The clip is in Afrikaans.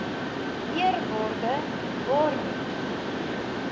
eerwaarde barney